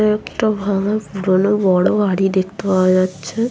একটা ভাঙ্গা পুরোনো বড়ো বাড়ি দেখতে পাওয়া যাচ্ছে ।